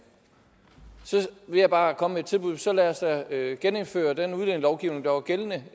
så vil jeg bare komme med et tilbud så lad os da genindføre den udlændingelovgivning der var gældende